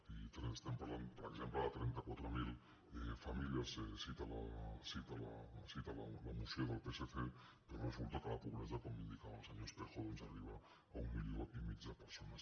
i estem parlant per exemple de trenta quatre mil famílies cita la moció del psc però resulta que la pobresa com indicava el senyor espejo arriba a un milió i mig de persones